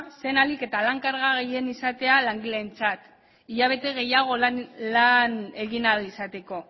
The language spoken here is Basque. zen ahalik eta lan karga gehien izatea langileentzat hilabete gehiago lan egin ahal izateko